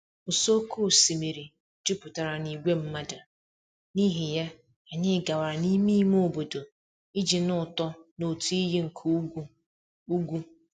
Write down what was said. ụsọ oké osimiri jupụtara na ìgwè mmadụ, n'ihi ya, anyị gawara n'ime ime obodo iji nụ ụtọ n'otu iyi nke ugwu. ugwu.